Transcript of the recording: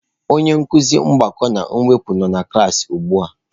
Onye nkuzi mgbakọ na mwepụ nọ na klaasị ugbu a.